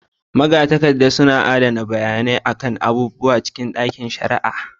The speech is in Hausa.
Magatakarda suna adana bayanai kan abubuwa cikin ɗakin shari'a